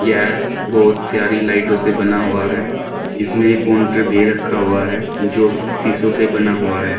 यह बहुत सारी लाइटों से बना हुआ है इसमें एक काउंटर भी रखा हुआ है जो कि शीशों से बना हुआ है।